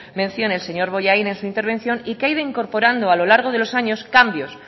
mención el señor bollain en su intervención y que ha ido incorporando a lo largo de los años cambios